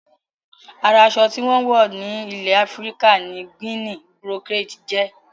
Ara aṣọ tí wón ń wọ̀ ní ilè Afíríkà ni Guinea brocade jẹ́